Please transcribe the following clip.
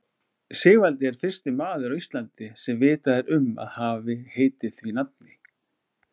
Sigvaldi er fyrsti maður á Íslandi sem vitað er um að hafi heitið því nafni.